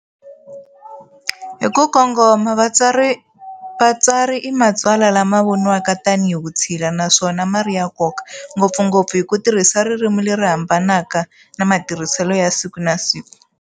Hikukongoma, vatsari i matsalwa lama voniwaka tanihi vutshila naswona mari yankoka, ngopfungopfu hi kutirhisa ririmi leri hambanaka na matirhisele ya siku na siku.